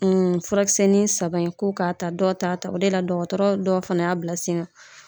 furakisɛni saba in k'o k'a ta dɔw ta ta o de la dɔgɔtɔrɔ dɔw fana y'a bila sen kan.